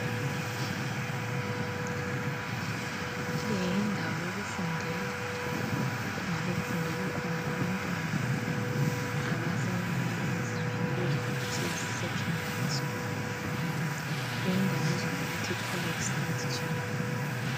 Le yindawo yokufundela. Kungabe kufundela khona abantwana abasezingeni elibizwa ngokuthi yi Secondary School. Le indawo ibizwa ngokuthi, "College Saint Jean".